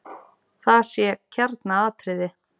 Það sé kjarnaatriði.